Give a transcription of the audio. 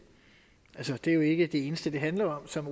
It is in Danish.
jeg synes det er jo ikke det eneste det handler om som